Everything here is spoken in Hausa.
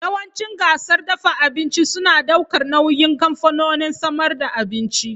Yawancin gasar dafa abinci suna daukar nauyin kamfanonin samar da abinci.